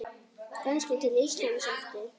Kannski til Íslands aftur?